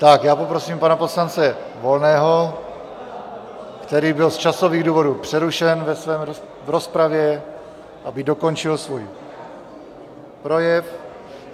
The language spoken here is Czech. Tak já poprosím pana poslance Volného, který byl z časových důvodů přerušen v rozpravě, aby dokončil svůj projev.